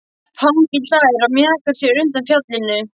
Fanginn hlær og mjakar sér undan fjallinu.